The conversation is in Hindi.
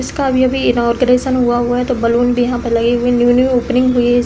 इसका अभी-अभी इनॉग्रेशन हुआ हुआ है तो बलून भी यहां पर लगे हुए हैं। न्यू न्यू ओपनिंग हुई --